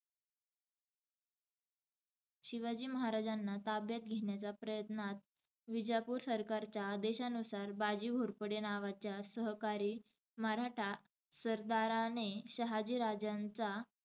शिवाजी महाराजांना ताब्यात घेण्याच्या प्रयत्नात, विजापूर सरकारच्या आदेशानुसार बाजी घोरपडे नावाच्या सहकारी मराठा सरदाराने शहाजी राजांचा,